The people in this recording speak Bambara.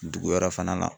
Dugu wɛrɛ fana na